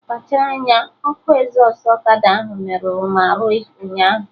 Kpachara anya! Ọkụ ezọstụ ọkada ahụ merụrụ m arụ ụnyaahụ!